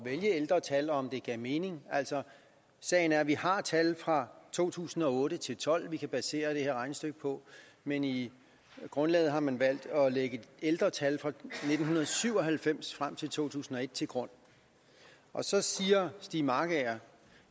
vælge ældre tal og om det gav mening sagen er at vi har tal fra to tusind og otte til tolv vi kan basere det her regnestykke på men i grundlaget har man valgt at lægge ældre tal fra nitten syv og halvfems til to tusind og et til grund så siger stiig markager at